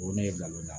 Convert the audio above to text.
O ye ne bila o la